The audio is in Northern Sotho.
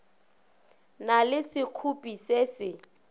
na le sekgopi se se